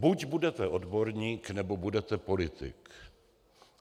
Buď budete odborník, nebo budete politik.